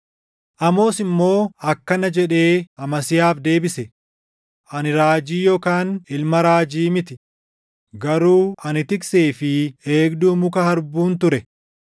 Amoos immoo akkana jedhee Amasiyaaf deebise; “Ani raajii yookaan ilma raajii miti; garuu ani tiksee fi eegduu muka harbuun ture.